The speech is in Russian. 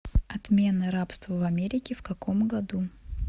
отмена рабства в америке в каком году